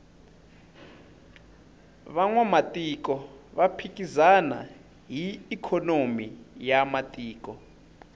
vanwamatiko va phikizana hi ikhonomi ya matiko